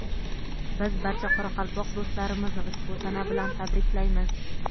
Biz barcha qoraqalpoq do‘stlarimizni ushbu sana bilan tabriklaymiz!.